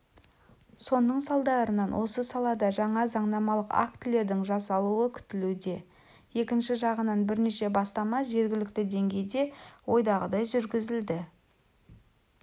соның салдарынан осы салада жаңа заңнамалық актілердің жасалуы күтілуде екінші жағынан бірнеше бастама жергілікті деңгейде ойдағыдай жүргізілді